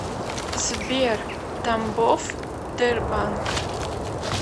сбер тамбов тербанк